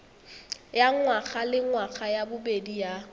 ya ngwagalengwaga ya bobedi ya